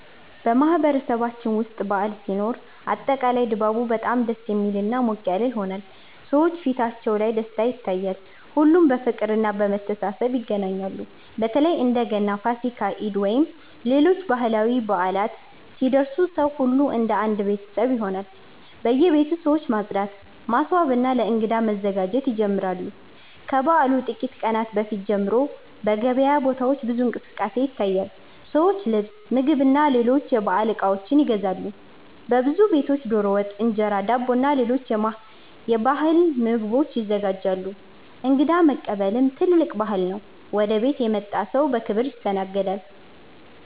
በማህበረሰባችን ውስጥ በዓል ሲኖር አጠቃላይ ድባቡ በጣም ደስ የሚልና ሞቅ ያለ ይሆናል። ሰዎች ፊታቸው ላይ ደስታ ይታያል፣ ሁሉም በፍቅርና በመተሳሰብ ይገናኛሉ። በተለይ እንደ ገና፣ ፋሲካ፣ ኢድ ወይም ሌሎች ባህላዊ በዓላት ሲደርሱ ሰው ሁሉ እንደ አንድ ቤተሰብ ይሆናል። በየቤቱ ሰዎች ማጽዳት፣ ማስዋብና ለእንግዳ መዘጋጀት ይጀምራሉ። ከበዓሉ ጥቂት ቀናት በፊት ጀምሮ በገበያ ቦታዎች ብዙ እንቅስቃሴ ይታያል፤ ሰዎች ልብስ፣ ምግብና ሌሎች የበዓል እቃዎች ይገዛሉ። በብዙ ቤቶች ዶሮ ወጥ፣ እንጀራ፣ ዳቦና ሌሎች የባህል ምግቦች ይዘጋጃሉ። እንግዳ መቀበልም ትልቅ ባህል ነው፤ ወደ ቤት የመጣ ሰው በክብር ይስተናገዳል።